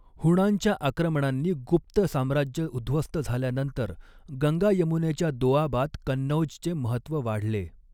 हूणांच्या आक्रमणांनी गुप्त साम्राज्य उध्वस्त झाल्यानंतर गंगा यमुनेच्या दोआबात कन्नौज चे महत्व वाढले.